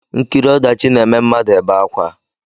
Nkiri ọdachi na-eme mmadụ ebe akwa